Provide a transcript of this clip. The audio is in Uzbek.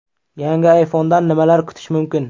Yangi ayfondan nimalar kutish mumkin?